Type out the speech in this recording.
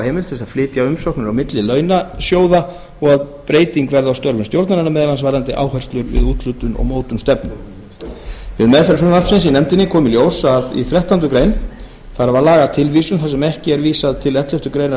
heimild til að flytja umsóknir á milli launasjóða og að breyting verði á störfum stjórnarinnar meðal annars varðandi áherslur við úthlutun og mótun stefnu við meðferð frumvarpsins í nefndinni kom í ljós að í þrettándu greinar þarf að laga tilvísun þar sem ekki er vísað til elleftu greinar um